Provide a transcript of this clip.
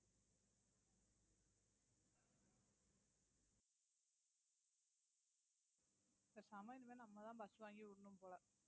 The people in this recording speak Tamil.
பேசாம இனிமே நம்ம தான் bus வாங்கி விடணும் போல